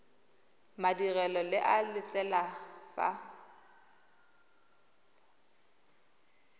madirelo le a letlelela fa